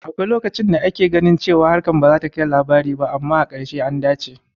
Akwai lokacin da ake ganin cewa harkar bazata kai labari ba, amma a ƙarshe, an dace